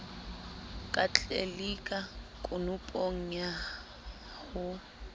ka tlelika konopong ya ho